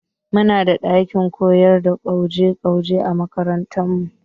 Mu na da ɗakin koyar da gwaje gwaje a makarantar mu